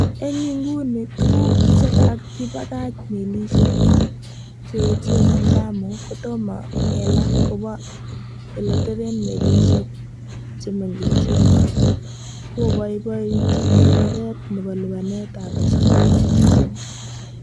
En inguni, tuguk chekakibakach melisiek che echen en Lamu kotomo kelaa kobaa ele teben melisiek che mengechen, koboibointin konoret nebo lipanet ab pasen nebo sosom.